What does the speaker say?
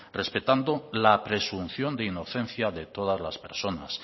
respetando la presunción de inocencia de todas las personas